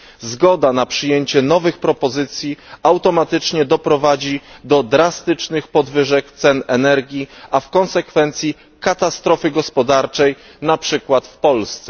Zgoda na przyjęcie nowych propozycji automatycznie doprowadzi do drastycznych podwyżek cen energii, a w konsekwencji katastrofy gospodarczej, na przykład w Polsce.